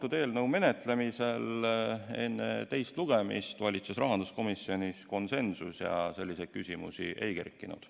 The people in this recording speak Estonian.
Selle eelnõu menetlemisel valitses enne teist lugemist rahanduskomisjonis konsensus ja selliseid küsimusi ei kerkinud.